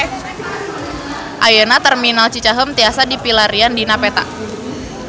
Ayeuna Terminal Cicaheum tiasa dipilarian dina peta